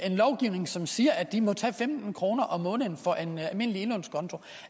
en lovgivning som siger at de må tage femten kroner om måneden for en almindelig indlånskonto